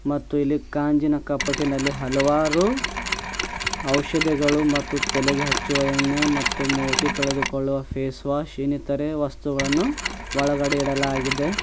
ಮತ್ತು ಇಲ್ಲಿ ಕಾಂಜಿನ ಕಪಟಿನಲ್ಲಿ ಹಲವಾರು ಔಷದಿಗಳು ಮತ್ತು ತಲೆಗೆ ಹಚ್ಚುವ ಎಣ್ಣೆ ಮತ್ತು ಮೋತಿ ತೊಳೆದುಕೊಳುವ ಫೇಸ ವಾಶ್ ಇನ್ನಿತರೇ ವಸ್ತುಗಳನ್ನು ಒಳಗಡೆ ಇಡಲಾಗಿದೆ.